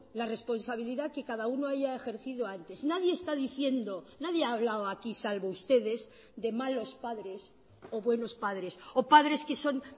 la responsabilidad que cada uno haya ejercido antes nadie está diciendo nadie ha hablado aquí salvo ustedes de malos padres o buenos padres o padres que son